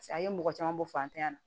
a ye mɔgɔ caman bɔ fantanya na